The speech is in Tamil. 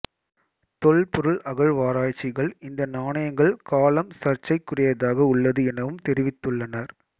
தொல்பொருள் அகழ்வாராய்ச்சிகள் இந்த நாணயங்கள் காலம் சர்ச்சைக்குரியதாக உள்ளது எனவும் தெரிவித்துள்ளனர்